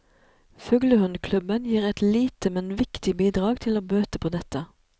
Fuglehundklubben gir et lite, men viktig bidrag til å bøte på dette.